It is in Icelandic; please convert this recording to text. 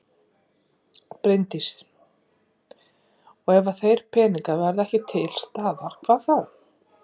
Bryndís: Og ef að þeir peningar verða ekki til staðar, hvað þá?